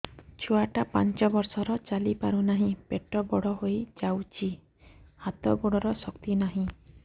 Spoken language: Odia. ଛୁଆଟା ପାଞ୍ଚ ବର୍ଷର ଚାଲି ପାରୁନାହଁ ପେଟ ବଡ ହୋଇ ଯାଉଛି ହାତ ଗୋଡ଼ର ଶକ୍ତି ନାହିଁ